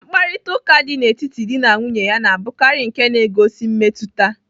Mkparịtaụka dị n'etiti dị na nwunye na-abụkarị nke na-egosi mmetụta.